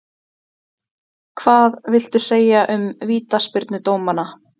Hvað viltu segja um vítaspyrnudómana?